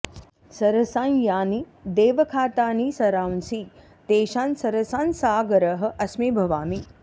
सरसां यानि देवखातानि सरांसि तेषां सरसां सागरः अस्मि भवामि